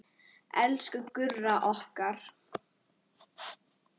Elsku Gurra okkar.